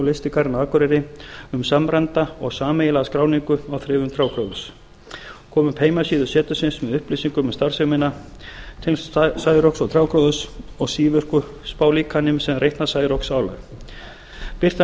lystigarðinn á akureyri um samræmda og sameiginlega skráningu á þrifum trjágróðurs koma upp heimasíðu setursins með upplýsingum um starfsemina tengsl særoks og trjágróðurs og sívirku spálíkani sem reiknar særoksálag birta niðurstöður